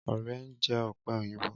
Ọrẹ ń jẹ ọ̀pẹ òyìnbó.